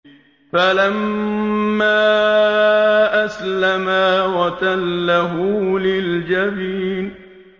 فَلَمَّا أَسْلَمَا وَتَلَّهُ لِلْجَبِينِ